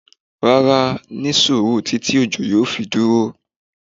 Rárá! ní suuru titi ọjọ́ yóò fi duro